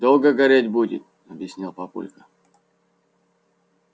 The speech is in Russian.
долго гореть будет объяснил папулька